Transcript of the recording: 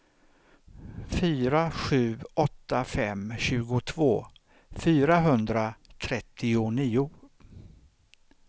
fyra sju åtta fem tjugotvå fyrahundratrettionio